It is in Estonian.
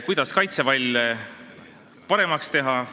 Kuidas kaitsevalle paremaks teha?